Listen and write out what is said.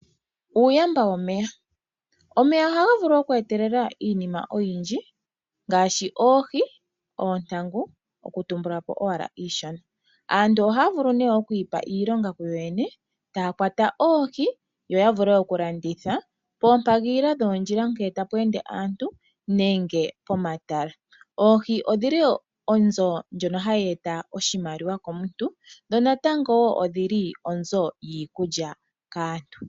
Uuyamba womeya Omeya ohaga vulu okweetelela iinima oyindji ngaashi oohi, oontangu okutumbula po owala iishona. Aantu ohaya vulu nee okwiipa iilonga kuyo yene taya kwata oohi yo ya vule oku landitha poompagilila dhoondjila ngele tapu ende aantu nenge pomatala. Oohi odhili onzo ndjono hayi eta oshimaliwa komuntu dho natango woo odhili onzo yiikulya kaantu.